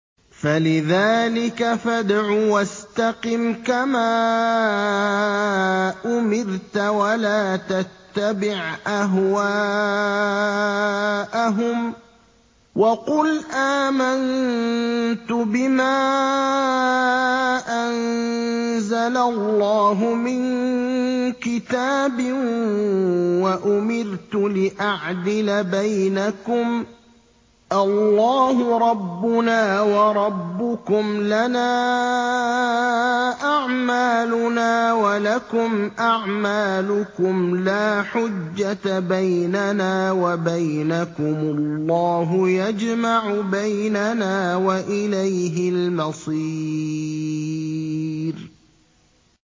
فَلِذَٰلِكَ فَادْعُ ۖ وَاسْتَقِمْ كَمَا أُمِرْتَ ۖ وَلَا تَتَّبِعْ أَهْوَاءَهُمْ ۖ وَقُلْ آمَنتُ بِمَا أَنزَلَ اللَّهُ مِن كِتَابٍ ۖ وَأُمِرْتُ لِأَعْدِلَ بَيْنَكُمُ ۖ اللَّهُ رَبُّنَا وَرَبُّكُمْ ۖ لَنَا أَعْمَالُنَا وَلَكُمْ أَعْمَالُكُمْ ۖ لَا حُجَّةَ بَيْنَنَا وَبَيْنَكُمُ ۖ اللَّهُ يَجْمَعُ بَيْنَنَا ۖ وَإِلَيْهِ الْمَصِيرُ